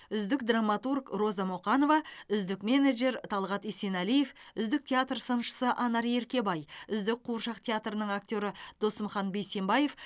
үздік драматург роза мұқанова үздік менеджер талғат есенәлиев үздік театр сыншысы анар еркебай үздік қуыршақ театрының актері досымхан бейсенбаев